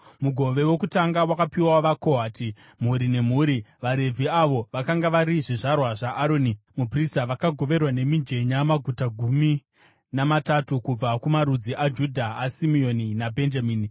Mugove wokutanga wakapiwa vaKohati, mhuri nemhuri. VaRevhi, avo vakanga vari zvizvarwa zvaAroni muprista, vakagoverwa nemijenya maguta gumi namatatu kubva kumarudzi aJudha, aSimeoni naBhenjamini,